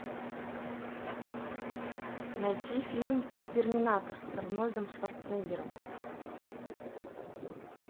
найти фильм терминатор с арнольдом шварценеггером